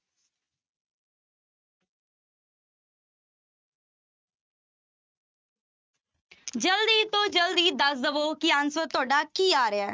ਜ਼ਲਦੀ ਤੋਂ ਜ਼ਲਦੀ ਦੱਸ ਦੇਵੋ ਕਿ answer ਤੁਹਾਡਾ ਕੀ ਆ ਰਿਹਾ ਹੈ।